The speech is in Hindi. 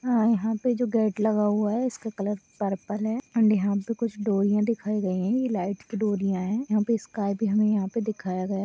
यहाँ पे जो गेट लगा हुआ है इसका कलर पर्पल है एंड यहाँ पे कुछ डोरियां दिखाई गयी हैं| यह लाईट की डोरियां हैं| यहाँ पे स्काई भी हमें यहाँ पे दिखाया गया है।